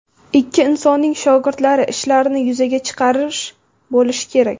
Ikki insonning shogirdlari ishlarini yuzaga chiqarish bo‘lishi kerak”.